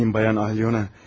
Yapmayın bayan Alyona.